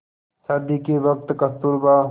शादी के वक़्त कस्तूरबा